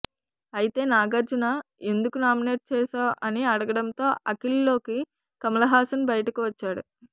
అయితే నాగార్జున ఎందుకు నామినేట్ చేశావ్ అని అడగడంతో అఖిల్లోకి కమల్ హాసన్ బయటకు వచ్చాడు